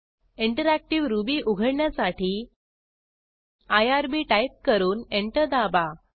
interactive Ruby उघडण्यासाठी IRB type करून enter दाबा